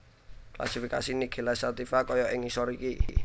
Klasifikasi Nigella Sativa kaya ing ngisor iki